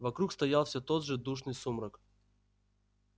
вокруг стоял всё тот же душный сумрак